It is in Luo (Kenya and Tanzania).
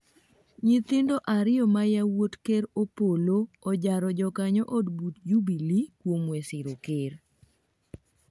nyithindo ariyo ma yawuot ker Opollo ojaro jokanyo od buch Jubilee kuom we siro ker